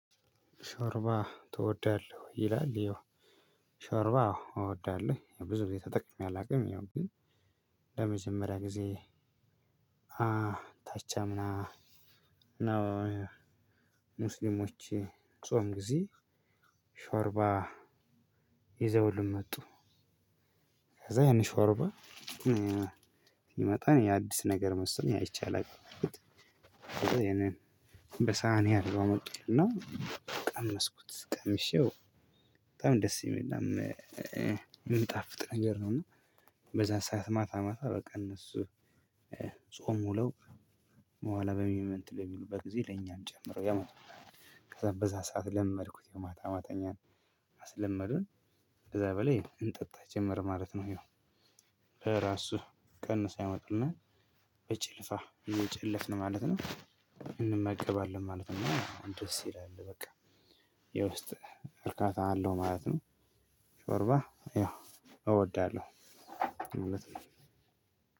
ሾርባ ትወዳለህ ይላል? ያው ሾርባ አዎ እወዳለሁ ብዙ ቤት ተጠቅሜ አላውቅም። ያው ግን ለመጀመሪያ ጊዜ ታች አምና ነው። ሙስሊሞች ጾም ጊዜ ሾርባ ይዘውልን መጡ። ከዛ ያን ሾርባ ሲመጣ አዲስ ነገር መሰለኝ አይቼ አላውቅም። ይሄንን በሳህን መጥቶልኝ ነው። ቀመስኩት ቀምሼው በጣም ደስ የሚልና የሚጣፍጥ ነገር ነው። እና በዛ ሰዓት ማታ ማታ በቃ እነሱ ጾም ውለው በኋላ እንትን በሚሉበት ጊዜ ለእኛም ጨምሮ ያመጣልሉ። ከዛ በዛ ሰዓት ለመድኩት የማታ ማተኛን አስለመዱን ከዛ በላይ እንጠጣ ጀመር ማለት ነው። ይሄው በራሱ ቀንሰው ያመጡልናል በጭልፉ የሚጨለፍ ነው ማለት ነው። እንመገባለን ማለት ነው። ደስ ይላል በቃ የውስጥ እርካታ አለው ማለት ነው። ሾርባ ያው እወዳለሁ ማለት ነው።